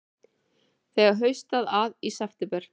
Þegar haustaði að í september